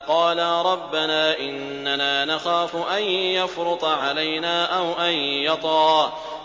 قَالَا رَبَّنَا إِنَّنَا نَخَافُ أَن يَفْرُطَ عَلَيْنَا أَوْ أَن يَطْغَىٰ